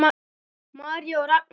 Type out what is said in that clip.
María og Ragnar.